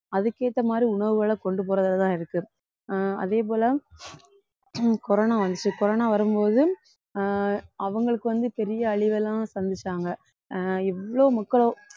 அதுக்கு ஏத்த மாதிரி உணவுகளை கொண்டு போறதுலதான் இருக்கு ஆஹ் அதே போல ஹம் corona வந்துச்சு corona வரும்போது ஆஹ் அவங்களுக்கு வந்து பெரிய அழிவெல்லாம் சந்திச்சாங்க ஆஹ் இவ்ளோ மக்களும்